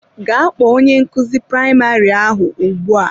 Gaa kpọọ onye nkuzi praịmarị ahụ ugbu a!